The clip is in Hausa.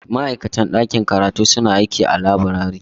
Ma'aikatan ɗakin karatu suna aiki a laburare.